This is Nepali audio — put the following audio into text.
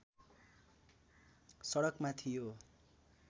सडकमा थियो